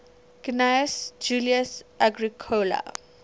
gnaeus julius agricola